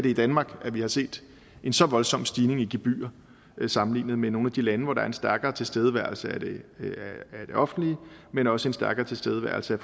i danmark at vi har set en så voldsom stigning i gebyrer sammenlignet med nogle af de lande hvor der er en stærkere tilstedeværelse af det offentlige men også en stærkere tilstedeværelse